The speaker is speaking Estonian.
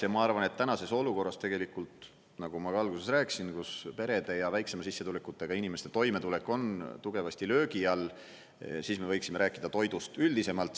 Ja ma arvan, et tänases olukorras, nagu ma alguses rääkisin, kus perede ja väiksema sissetulekuga inimeste toimetulek on tugevasti löögi all, me võiksime rääkida toidust üldisemalt.